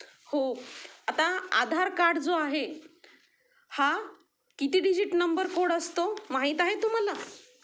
हो आता आधार कार्ड जो आहे हा किती डिजिट नंबर कोड असतो माहित आहे तुम्हाला?